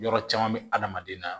Yɔrɔ caman bɛ adamaden na